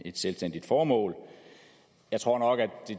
et selvstændigt formål jeg tror nok at